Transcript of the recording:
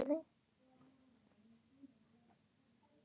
Alltaf einsog nýr.